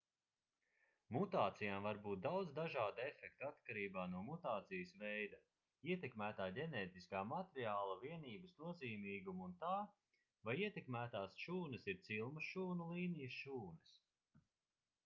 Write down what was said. mutācijām var būt daudz dažādu efektu atkarībā no mutācijas veida ietekmētā ģenētiskā materiāla vienības nozīmīguma un tā vai ietekmētās šūnas ir cilmes šūnu līnijas šūnas